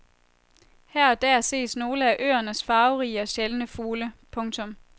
Her og der ses nogle af øernes farverige og sjældne fugle. punktum